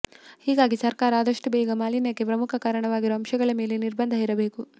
ಹೀಗಾಗಿ ಸರ್ಕಾರ ಆದಷ್ಟು ಬೇಗ ಮಾಲೀನ್ಯಕ್ಕೆ ಪ್ರಮುಖ ಕಾರಣವಾಗಿರುವ ಅಂಶಗಳ ಮೇಲೆ ನಿರ್ಬಂಧ ಹೇರಬೇಕು